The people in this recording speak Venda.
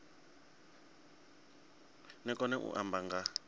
ni kone u amba nga